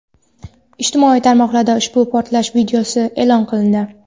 Ijtimoiy tarmoqlarda ushbu portlash videosi e’lon qilindi.